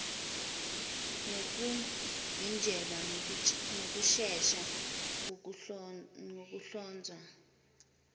nokuvinjelwa nokushesha kokuhlonzwa